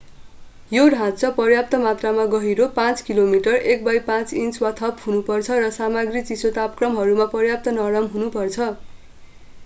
यो ढाँचा पर्याप्त मात्रामा गहिरो 5 मिलिमिटर 1/5 इन्च वा थप हुनुपर्छ र सामग्री चिसो तापक्रमहरूमा पर्याप्त नरम हुनुपर्छ।